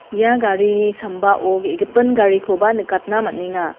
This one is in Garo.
ia garini sambao ge·gipin garikoba nikatna man·enga.